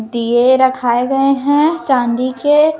दीए रखाए गए हैं चांदी के--